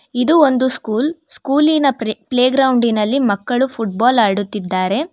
ಇದು ಒಂದು ಸ್ಕೂಲ್ ಸ್ಕೂಲಿ ಪ್ರೆ ಪ್ಲೇ ಗ್ರೌಂಡಿ ನಲ್ಲಿ ಮಕ್ಕಳು ಫುಟ್ ಬಾಲ್ ಆಡುತ್ತಿದ್ದಾರೆ.